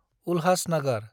Ulhasnagar